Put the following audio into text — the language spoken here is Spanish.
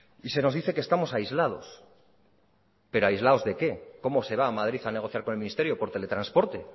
y se nos dice que estamos aislados pero aislados de qué cómo se va a madrid a negociar con el ministerio por teletransporte